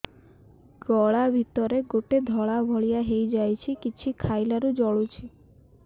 ଗଳା ଭିତରେ ଗୋଟେ ଧଳା ଭଳିଆ ହେଇ ଯାଇଛି କିଛି ଖାଇଲାରୁ ଜଳୁଛି